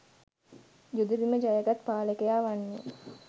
යුද බිම ජය ගත් පාලකයා වන්නේ